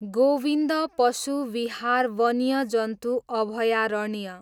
गोविन्द पशु विहार वन्यजन्तु अभयारण्य